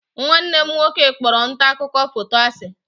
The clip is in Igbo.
Nwanne m nwoke kpọrọ nta akụkọ foto asi.